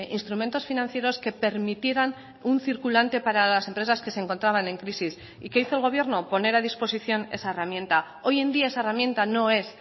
instrumentos financieros que permitieran un circulante para las empresas que se encontraban en crisis y qué hizo el gobierno poner a disposición esa herramienta hoy en día esa herramienta no es